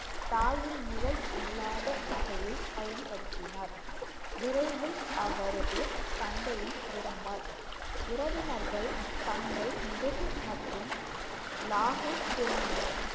தாயின் நிழல் இல்லாத வகையில் பயன்படுத்தினார் விரைவில் அவரது தந்தையும் இறந்தார். உறவினர்கள் தங்கள் மற்றும் லாகூர் திரும்பினர்.